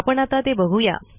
आपण आता ते बघू या